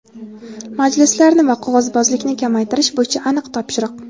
Majlislarni va qog‘ozbozlikni kamaytirish bo‘yicha aniq topshiriq!.